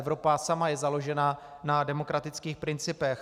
Evropa sama je založena na demokratických principech.